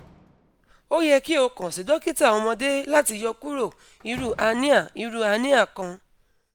o yẹ ki o kan si dokita ọmọde lati yọkuro iru hernia iru hernia kan